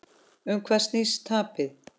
Um hvað snýst tapið?